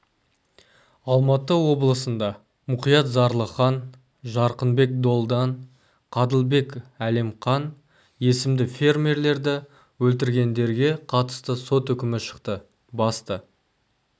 алматы облысында мұқият зарылхан жарқынбек долдан қадылбек әлемқан есімді фермерлерді өлтіргендерге қатысты сот үкімі шықты басты